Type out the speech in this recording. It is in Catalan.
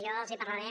jo els parlaré